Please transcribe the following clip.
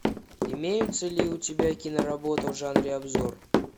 имеются ли у тебя киноработы в жанре обзор